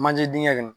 Manje dengɛ kɔnɔ